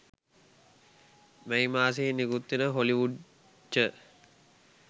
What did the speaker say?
මැයි මාසයේ නිකුත්වෙන හොලිවුඩ් ච